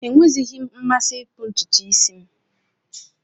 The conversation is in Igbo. Enweghịzi m mmasị ịkpụ ntutu isi m